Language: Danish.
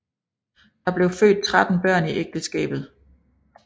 Der blev født 13 børn i ægteskabet